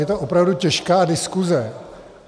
Je to opravdu těžká diskuse.